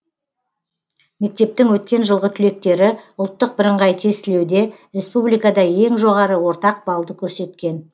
мектептің өткен жылғы түлектері ұлттық бірыңғай тестілеуде республикада ең жоғары ортақ баллды көрсеткен